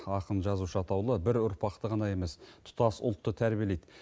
ақын жазушы атаулы бір ұрпақты ғана емес тұтас ұлтты тәрбиелейді